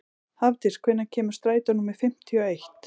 Hafdís, hvenær kemur strætó númer fimmtíu og eitt?